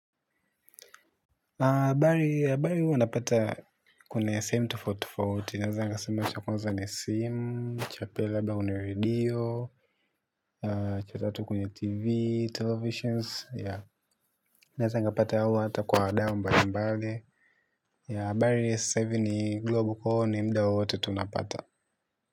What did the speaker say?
Habari huwa napata kwenye sehemu tofauti tofauti, naeza nikasema cha kwanza ni simu, cha pili labda ni redio, cha tatu kwenye TV, televisions, yea, naeza nikapata au hata kwa wadau mbalimbali, yea, habari sasa hivi ni global kwaivo ni mda wowote tunapata.